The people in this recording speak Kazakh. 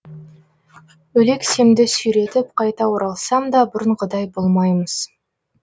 өлексемді сүйретіп қайта оралсам да бұрынғыдай болмаймыз